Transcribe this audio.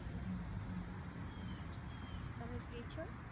તમે free છો